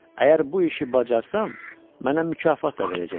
Əgər bu işi bacarsam, mənə mükafat da verəcəklər.